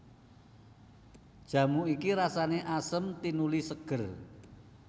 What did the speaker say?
Jamu iki rasané asem tinuli ségér